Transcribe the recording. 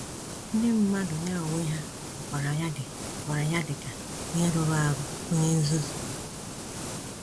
Ndị mmadụ ya onwe ha hụkwara ya dị hụkwara ya dị ka “onye rụrụ arụ, onye nzuzu.”